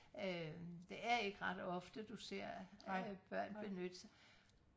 øh det er ikke ret ofte du ser øh børn benytte sig